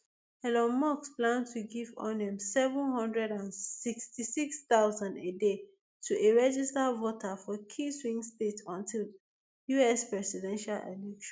elon musk plan to give onem seven hundred and sixty-six thousand a day to a registered voter for key swing states until di us presidential election